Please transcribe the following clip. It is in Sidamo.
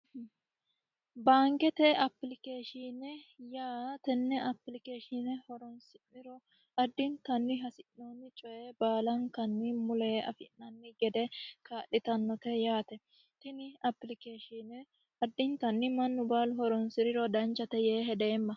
baankete appilikeeshiine yaa tenne horonsi'neemmo addintanni hasi'noommo coye baalankanni mulenni afi'nanni gede kaa'litannote yaate tini applikeeshiine mannu baalu horonsiriro danchate yee hedeemma.